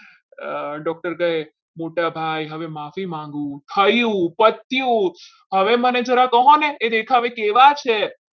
doctor કહે મોટાભાઈ હવે માફી માંગુ થયું હવે મને જરા કહો ને એ દેખાવે કેવા છે?